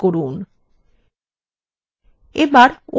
এবার okay button click করুন